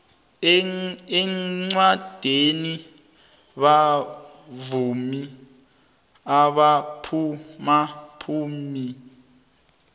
iqandweni bauvmi abaphumaphambili